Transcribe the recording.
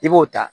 I b'o ta